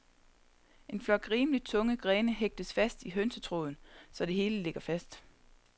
En flok rimeligt tunge grene hægtes fast i hønsetråden, så det hele ligger fast.